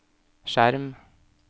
skjerm